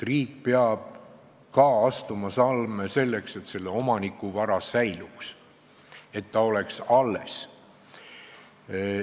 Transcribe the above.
Riik peab ka astuma samme selleks, et omaniku vara säiliks, et ta oleks alles.